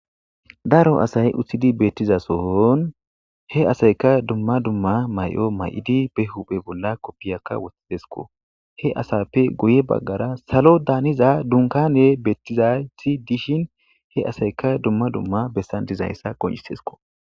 daro asay uththidi beettizasohon he asayka dumma dumma may7o may7idi be huphe bolla koppiyakka wothtidesko he asappe guye baggara salo daaniza dunkane beettizayti dishin he asayka dumma dumma bessan dizayssa qoncisesko